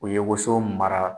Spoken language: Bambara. U ye woso mara.